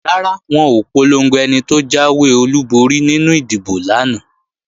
Rárá, wọn ò polongo ẹni tó jáwé olúborí nínú ìdìbò lánàá